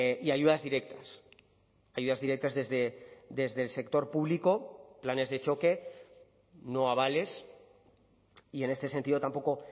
y ayudas directas ayudas directas desde el sector público planes de choque no abales y en este sentido tampoco